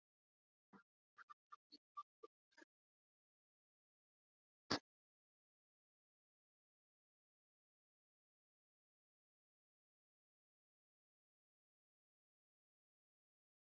Borgþór, viltu hoppa með mér?